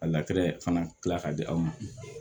A fana kila ka di aw ma